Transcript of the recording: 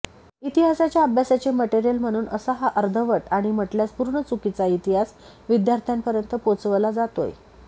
इतिहासाच्या अभ्यासाचे मटेरीयल म्हणून असा हा अर्धवट आणि म्हटल्यास पूर्ण चुकीचा इतिहास विद्यार्थ्यांपर्यंत पोचवला जातोय